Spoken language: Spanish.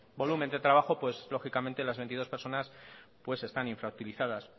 volumen de trabajo pues lógicamente las veintidós personas están infrautilizadas